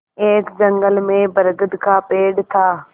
एक जंगल में बरगद का पेड़ था